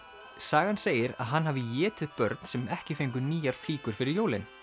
sagan segir að hann hafi étið börn sem ekki fengu nýjar flíkur fyrir jólin